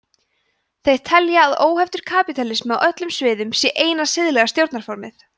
þeir telja að óheftur kapítalismi á öllum sviðum sé eina siðlega stjórnarformið